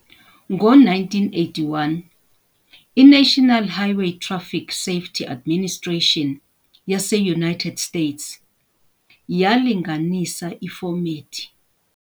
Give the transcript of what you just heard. Ngo-1981, iNational Highway Traic Safety Administration yase-United States yalinganisa ifomethi.